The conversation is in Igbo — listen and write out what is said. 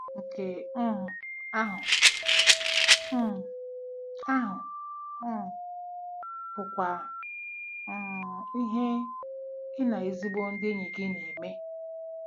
Nke um ahụ um ahụ um bụkwa um ihe gị na ezigbo ndị enyi gị na-eme. ”